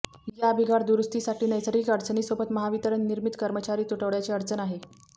या बिघाड दुरुस्तीसाठी नैसर्गिक अडचणीसोबत महावितरण निर्मित कर्मचारी तुटवड्याची अडचण आहे